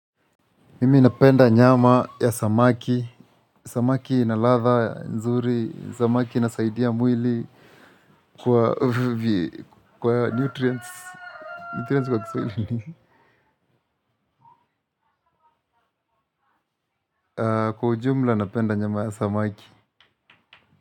Mimi napenda nyama ya samaki, samaki ina ladha, nzuri, samaki inasaidia mwili kwa nutrients, nutrients kwa Kiswahili ni nini, kwa ujumula napenda nyama ya samaki.